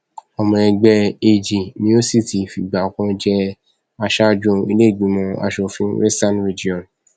ọmọ ẹgbẹ ag ni ó sì ti fìgbà kan jẹ aṣáájú iléìgbìmọ asòfin western region